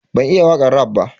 Ban iya wakan raf ba.